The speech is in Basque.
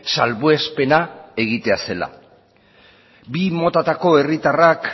salbuespena egitea zela bi motatako herritarrak